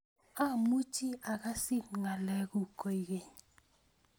Amuchi akasit ngalekuk koikeny